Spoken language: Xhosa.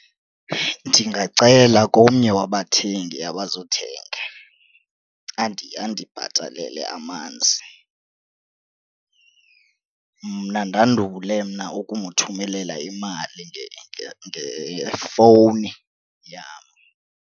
Ndingacela komnye wabathengi abazothenga andibhatalele amanzi. Mna ndandule mna ukumthumelela imali ngefowuni yam.